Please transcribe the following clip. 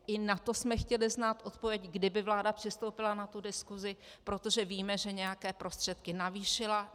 I na to jsme chtěli znát odpověď, kdyby vláda přistoupila na tu diskusi, protože víme, že nějaké prostředky navýšila.